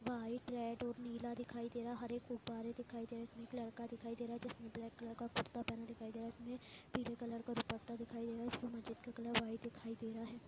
White red और नीला दिखाई दे रहा है हरे गुब्बारे दिखाई दे रहे है एक लड़का दिखाई दे रहा है जिसने ब्लैक कलर का कुर्ता पहना दिखाई दे रहा है पीले कलर का दुप्पटा दिखाई दे रहा है। इसमे मस्जिद का कलर व्हाइट दिखाई दे रहा है।